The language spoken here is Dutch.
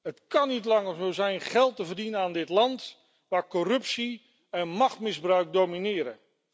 Het kan niet langer zo zijn geld te verdienen aan dit land waar corruptie en machtsmisbruik domineren.